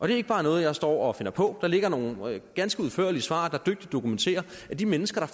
det er ikke bare noget jeg står og finder på der ligger nogle ganske udførlige svar der dygtigt dokumenterer at de mennesker